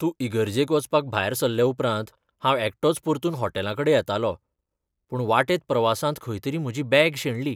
तूं इगर्जेक वचपाक भायर सरले उपरांत, हांव एकटोच परतून हॉटेलाकडें येतालों, पूण वाटेंत प्रवासांत खंय तरी म्हजी बॅग शेणली.